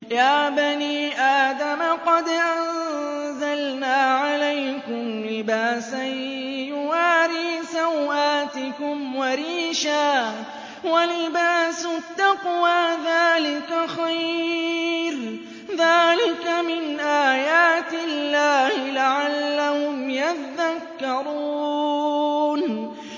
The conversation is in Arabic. يَا بَنِي آدَمَ قَدْ أَنزَلْنَا عَلَيْكُمْ لِبَاسًا يُوَارِي سَوْآتِكُمْ وَرِيشًا ۖ وَلِبَاسُ التَّقْوَىٰ ذَٰلِكَ خَيْرٌ ۚ ذَٰلِكَ مِنْ آيَاتِ اللَّهِ لَعَلَّهُمْ يَذَّكَّرُونَ